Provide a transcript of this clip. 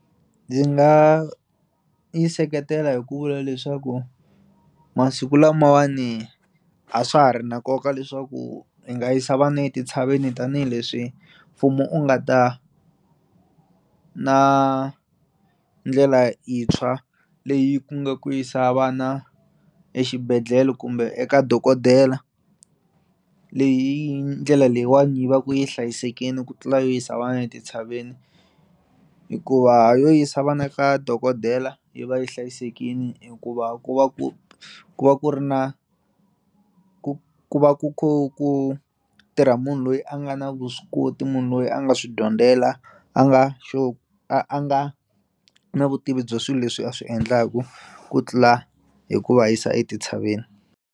Ndzi nga yi seketela hi ku vula leswaku masiku lamawani a swa ha ri na nkoka leswaku i nga yisa vana etintshaveni tanihileswi mfumu u nga ta na ndlela yintshwa leyi ku nga ku yisa vana exibedhlele kumbe eka dokodela leyi ndlela leyiwani yi va ku yi hlayisekini ku tlula yo yisa vana etintshaveni hikuva yo yisa vana eka dokotela yi va yi hlayisekini hikuva ku va ku ku va ku ri na ku va ku kho ku tirha munhu loyi a nga na vuswikoti munhu loyi a nga swi dyondzela a nga sure a a nga na vutivi bya swilo leswi a swi endlaku ku tlula hi ku va yisa etintshaveni.